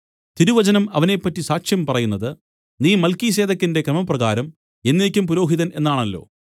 തിരുവചനം അവനെപ്പറ്റി സാക്ഷ്യം പറയുന്നത് നീ മൽക്കീസേദെക്കിന്റെ ക്രമപ്രകാരം എന്നേക്കും പുരോഹിതൻ എന്നാണല്ലോ